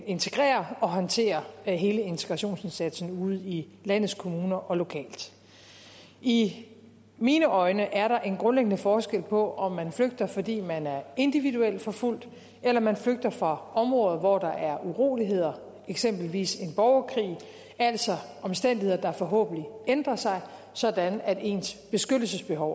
integrere og håndtere hele integrationsindsatsen ude i landets kommuner og lokalt i mine øjne er der en grundlæggende forskel på om man flygter fordi man er individuelt forfulgt eller man flygter fra områder hvor der er uroligheder eksempelvis en borgerkrig altså omstændigheder der forhåbentlig ændrer sig sådan at ens beskyttelsesbehov